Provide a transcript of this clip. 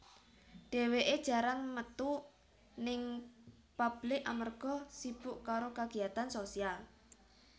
Dheweké jarang metu ning pablik amarga sibuk karo kagiyatan sosial